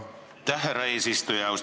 Aitäh, härra eesistuja!